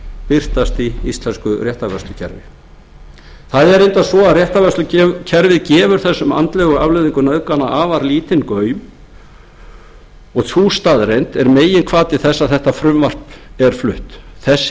birtast í íslensku réttarvörslukerfi það er reyndar svo að réttarvörslukerfið gefur þessum andlegu afleiðingum nauðgana afar lítinn gaum og sú staðreynd er meginhvati þess að þetta frumvarp er flutt þessi